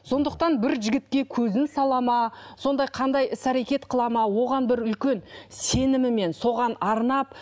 сондықтан бір жігітке көзін салады ма сондай қандай іс әрекет қылады ма оған бір үлкен сенімімен соған арнап